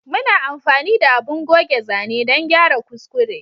Muna amfani da abun goge zane dan gyara kuskure